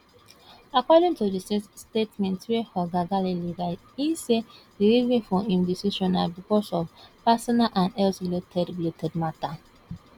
according to di statement wey oga ngelale write e say di reason for im decision na becos of personal and health related related mata